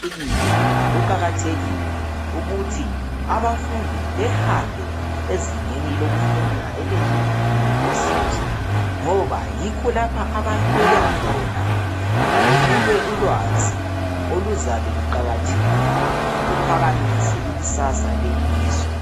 Kuqakathekile ukuthi abafundi behambe ezingeni lokufunda eliyiyunivesithi ngoba yikho lapho abalolwa khona benikwe ulwazi oluzabe luqakathekile luphakamise ikusasa lelizwe.